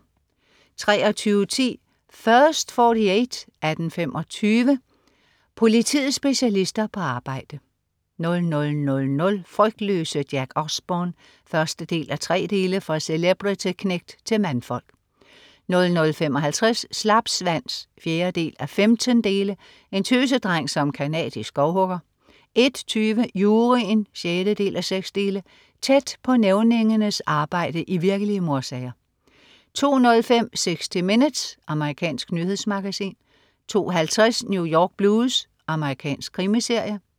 23.10 First 48 18:25. Politiets specialister på arbejde 00.00 Frygtløse Jack Osbourne 1:3. fra celebrity-knægt til mandfolk 00.55 Slapsvans 4:15. En tøsedreng som canadisk skovhugger 01.20 Juryen 6:6. Tæt på nævningernes arbejde i virkelige mordsager 02.05 60 Minutes. Amerikansk nyhedsmagasin 02.50 New York Blues. Amerikansk krimiserie